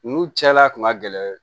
Nu cɛla kun ka gɛlɛn